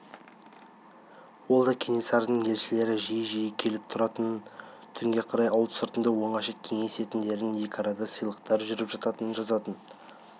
ол да кенесарының елшілері жиі-жиі келіп тұратынын түнге қарай ауыл сыртында оңаша кеңесетіндерін екі арада сыйлықтар жүріп жататынын жазатын